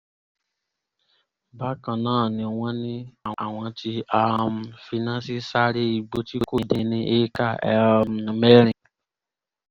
bákan náà ni wọ́n ní àwọn tí um finá sí sáré igbó tí kò dín ní éékà um mẹ́rin